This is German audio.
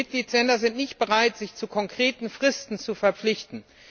Die Mitgliedstaaten sind nicht bereit, sich zu konkreten Fristen zu verpflichten.